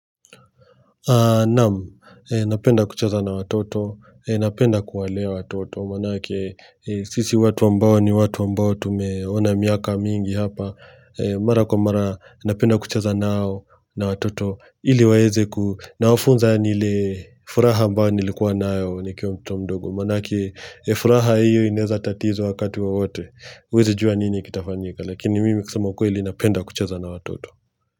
Naam, napenda kucheza na watoto, napenda kuwalea watoto, maanake sisi watu ambao ni watu wa ambao tumeona miaka mingi hapa, mara kwa mara napenda kucheza nao na watoto, ili waweze ku, nawafunza yaani ile furaha ambayo nilikuwa nayo nikiwa mtoto mdogo, maanake furaha hiyo inaeza tatizwa wakati wawote, huwezijua nini kitafanyika, lakini mimi kusema ukweli napenda kuchesa na watoto.